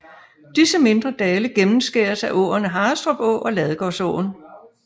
Disse mindre dale gennemskæres af åerne Harrestrup Å og Ladegårdsåen